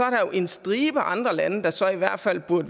jo en stribe andre lande der så i hvert fald burde